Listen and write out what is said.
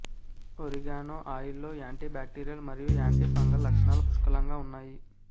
oregano ఆయిల్లో antibacterial మరియు antifungal లక్షణాలు పుష్కలంగా ఉన్నాయి